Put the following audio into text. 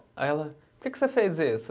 Aí ela, por que que você fez isso?